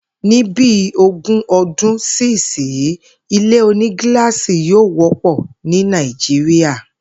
Ní bi ogún o̩dún sí ìsinyí, ilé onígiláàsì yóò wó̩pò̩ ní Nàìjíríà